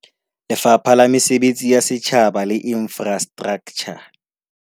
Lefapha la Mesebetsi ya Setjhaba le Infrastraktjha